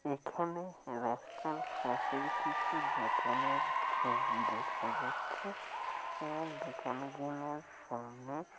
এখানে রাস্তার পাশের কিছু দোকানের ছবি দেখা যাচ্ছে আর দোকান গুলোর সামনে --